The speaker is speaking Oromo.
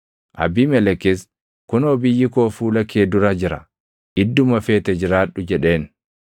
Abiimelekis, “Kunoo biyyi koo fuula kee dura jira; idduma feete jiraadhu” jedheen.